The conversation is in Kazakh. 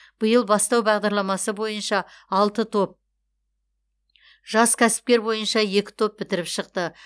биыл бастау бағдарламасы бойынша алты топ жас кәсіпкер бойынша екі топ бітіріп шықты